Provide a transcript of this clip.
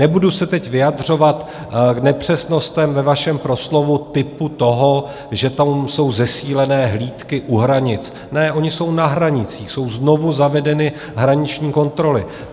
Nebudu se teď vyjadřovat k nepřesnostem ve vašem proslovu typu toho, že tam jsou zesílené hlídky u hranic - ne, ony jsou na hranicích, jsou znovu zavedeny hraniční kontroly.